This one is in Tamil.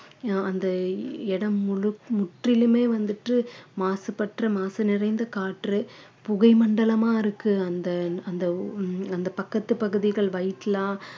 அஹ் அந்த இடம் முழுக்~ முற்றிலுமே வந்துட்டு மாசுபட்ட மாசு நிறைந்த காற்று புகை மண்டலமா இருக்கு அந்த அந்த அந்த பக்கத்து பகுதிகள்